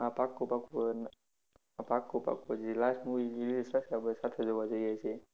હા પાક્કું પાક્કું હવે, હા પાક્કું પાક્કું જી last movie જી release થશે આપડે સાથે જોવા જઈએ એ.